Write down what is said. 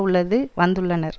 உள்ளது வந்துள்ளனர்